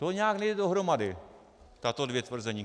To nějak nejde dohromady, tato dvě tvrzení.